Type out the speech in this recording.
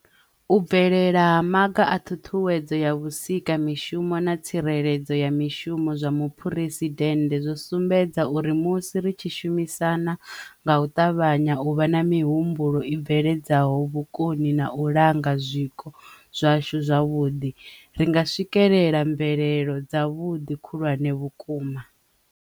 U bvelela ha Maga a Ṱhuṱhuwedzo ya Vhusika mishumo na Tsireledzo ya Mishumo zwa Muphuresi dennde zwo sumbedza uri musi ri tshi shumisana, nga u ṱavhanya, u vha na mihumbulo i bveledzaho vhukoni na u langa zwiko zwashu zwavhuḓi, ri nga swikelela mvelelo dzavhuḓi khulwane vhukuma.